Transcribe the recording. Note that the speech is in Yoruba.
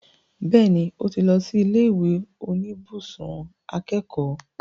Bẹ́ẹ̀ni, ó ti lọ sí ilé ìwé oníbùsùn akẹ́kọ̀ọ́